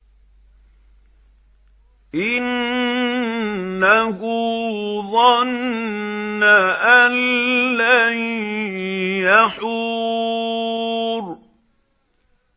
إِنَّهُ ظَنَّ أَن لَّن يَحُورَ